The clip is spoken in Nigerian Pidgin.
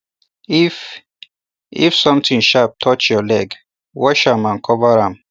if if something sharp touch your leg wash am and cover am